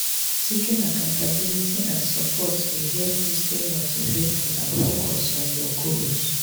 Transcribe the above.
you fit talk about how to develop a growth mindset for lifelong learning.